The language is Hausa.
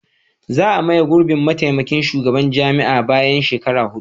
Za a maye gurbin mataimakin shugaban jami'a bayan shekaru hudu.